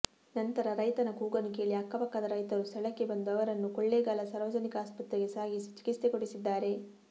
ನಂತರ ರೈತನ ಕೂಗನ್ನು ಕೇಳಿ ಅಕ್ಕಪಕ್ಕದ ರೈತರು ಸ್ಥಳಕ್ಕೆ ಬಂದು ಅವರನ್ನು ಕೊಳ್ಳೇಗಾಲ ಸಾರ್ವಜನಿಕ ಆಸ್ಪತ್ರೆಗೆ ಸಾಗಿಸಿ ಚಿಕಿತ್ಸೆ ಕೊಡಿಸಿದ್ದಾರೆ